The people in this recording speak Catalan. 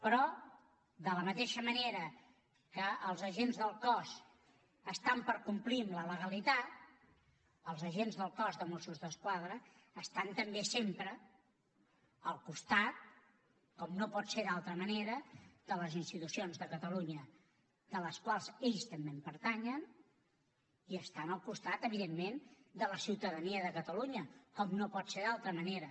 però de la mateixa manera que els agents del cos estan per complir amb la legalitat els agents del cos de mossos d’esquadra estan també sempre al costat com no pot ser d’altra manera de les institucions de catalunya a les quals ells també pertanyen i estan al costat evidentment de la ciutadania de catalunya com no pot ser d’altra manera